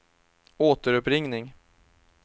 återuppringning